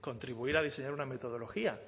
contribuir a diseñar una metodología